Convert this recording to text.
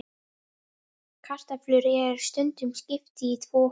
Kartöflum er stundum skipt í tvo hópa.